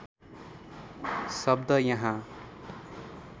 शब्द यहाँ